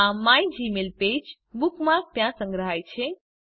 આ મિગમેલપેજ બુકમાર્ક ત્યાં સંગ્રહાય છે